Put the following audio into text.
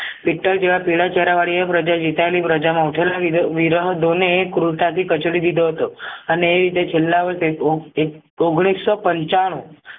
પીતળ જેવા પીળા ચહેરા વળી એ પ્રજા જીતવાની પ્રજામાં ઉઠો લાવી તે વિરહદોને ક્રુરતાથી કચડી દીધો હતો અને રીતે છેલ્લા વર્ષે ઓ એક ઓગણીસો પંચાણું